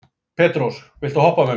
Petrós, viltu hoppa með mér?